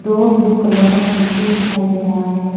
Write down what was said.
दोनों blue colour का stool भी दिखाई दे रहा है।